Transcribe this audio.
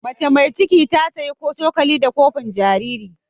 Macea mai cikin ta saya cokali da kofin jariri.